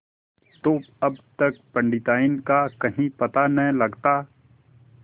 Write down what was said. तो अब तक पंडिताइन का कहीं पता न लगता